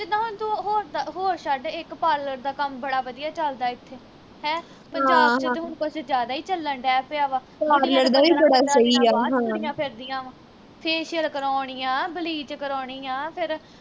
ਹੋਰ ਹੋਰ ਛੱਡ ਇਕ parlor ਦਾ ਕੰਮ ਬੜਾ ਵਧੀਆ ਚੱਲ ਦਾ ਇਥੇ ਹੈ ਪੰਜਾਬ ਵਿਚ ਹੁਣ ਕੁਝ ਜਿਆਦਾ ਈ ਚੱਲ ਦਹਿ ਪਿਆ ਵਾ ਬਾਹਰ ਤੁਰੀਆਂ ਫਿਰਦੀਆਂ ਵਾ facial ਕਰਾਉਣੀ ਆ, bleach ਕਰਾਉਣੀ ਆ ਫਿਰ